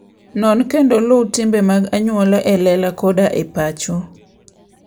Non kendo luw timbe mag anyuola e lela koda e pacho.